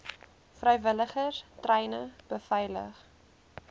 vrywilligers treine beveilig